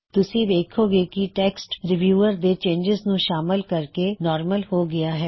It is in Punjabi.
ਤੁਸੀ ਵੇੱਖੋਂ ਗੇ ਕਿ ਟੈੱਕਸਟ ਰੀਵਿਊਅਰ ਦੇ ਚੇਨਜਿਜ਼ ਨੂੰ ਸ਼ਾਮਲ ਕਰਕੇ ਨਾਰਮਲ ਹੋ ਗਇਆ ਹੈ